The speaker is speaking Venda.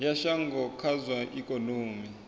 ya shango kha zwa ikonomi